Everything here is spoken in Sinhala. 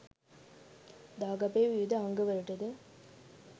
දාගැබේ විවිධ අංගවලටද